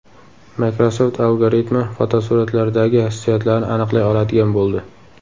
Microsoft algoritmi fotosuratlardagi hissiyotlarni aniqlay oladigan bo‘ldi.